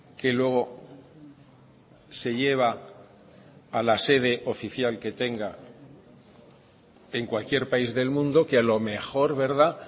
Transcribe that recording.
que luego se lleva a la sede oficial que tenga en cualquier país del mundo que a lo mejor verdad